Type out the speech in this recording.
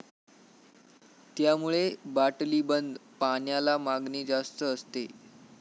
त्यामुळे बाटलीबंद पाण्याला मागणी जास्त असते.